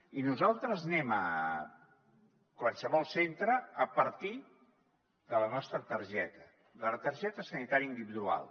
i nosaltres anem a qualsevol centre a partir de la nostra targeta de la targeta sanitària individual